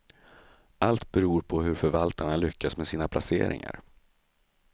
Allt beror på hur förvaltarna lyckas med sina placeringar.